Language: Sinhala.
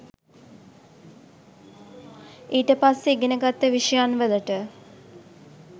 ඊට පස්සෙ ඉගෙන ගත්ත විෂයන් වලට.